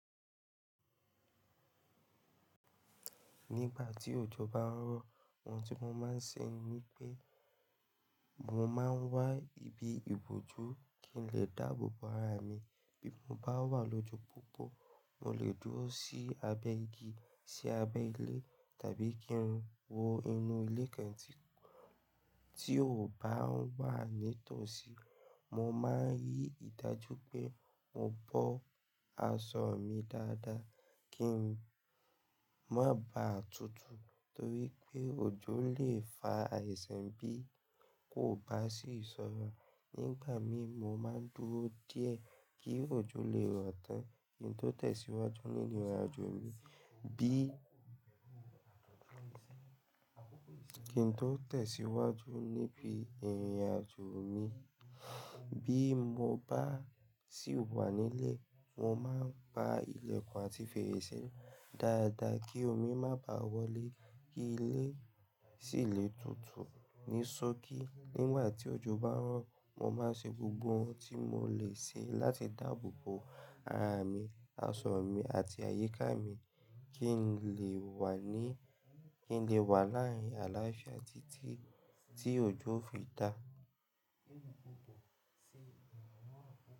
Nígbà tí òjò bá ń rọ̀, oun tí mo máa ń ṣe ni pé mo máa ń wá ibi ìbòjú kí n lè dáàbò bo ara mi. Bí mo bá wà lójú púpọ̀, mo lè dúró sí abẹ́ igi, sí abẹ́ ilé tàbí kín wọ inú ilé kan tí, tí ò bá ń wà ní ìtòsí. Mo máa ń rí ìdájú pé mo bọ́ aṣọ mi dáadáa kín má bá tutù torí pé òjò lè fa àìsàn bí kò bá sì sọ́ra. Nígbà mi mo máa ń dúró díẹ̀ kí òjò lè rọ̀ tán kín tó tẹ̀síwájú nínu ìrìnàjò mi. Bí kín tó tẹ̀síwájú níbi ìrìnàjò mi. Bí mo bá sì wà nílé, mo máa ń pa ilẹ̀kùn àti fèrèsé dáadáa kí omi má bá wọlé, kí ilé sì le tutù ní sokí. Nígbà tí òjò bá ń rọ̀, mo máa ń ṣe gbogbo oun tí mo lè ṣe láti dáàbò bo ara mi, aṣọ mi àti àyíká mi kín lè wà ní, kín lè wà láàárín àlàáfíà títí tí òjò o fi dà.